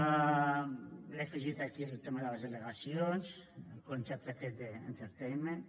li he afegit aquí el tema de les delegacions el concepte aquest d’ entertainment